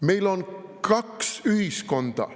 Meil on kaks ühiskonda.